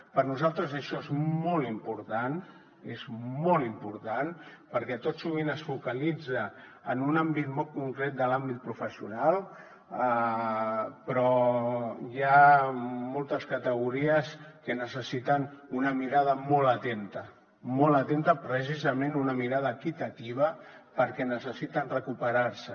per nosaltres això és molt important és molt important perquè tot sovint es focalitza en un àmbit molt concret de l’àmbit professional però hi ha moltes categories que necessiten una mirada molt atenta molt atenta precisament una mirada equitativa perquè necessiten recuperar se